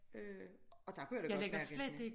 Øh og der kunne jeg godt mærke at jeg